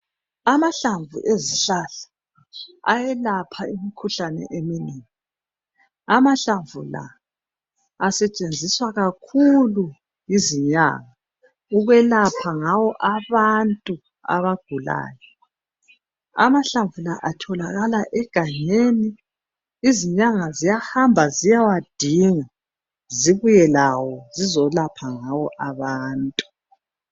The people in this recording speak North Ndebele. Amahlamvu ezihlahla eyalapha imikhuhlane eminengi, amahlamvu la asetshenziswa kakhulu yizinyanga ukwelapha ngawo abantu abagulayo. Amahlamvu la atholakala egangeni izinyanga ziyahamba ziyewadinga zibuye lawo zizolapha ngawo abantu.